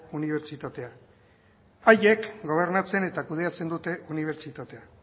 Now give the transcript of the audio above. unibertsitatea haiek gobernatzen eta kudeatzen dute unibertsitatea